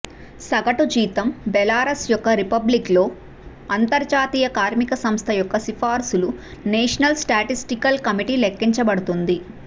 సగటు జీతం బెలారస్ యొక్క రిపబ్లిక్ లో అంతర్జాతీయ కార్మిక సంస్థ యొక్క సిఫార్సులు నేషనల్ స్టాటిస్టికల్ కమిటీ లెక్కించబడుతుంది